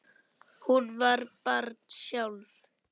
Hún var barn sjálf.